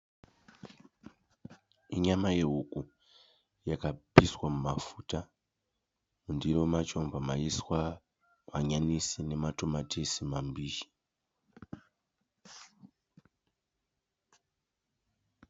Inyama yehuku yakapiswa mumafuta. Mundiro macho ndobva maiswa hanyanisi nematomatisi mambishi.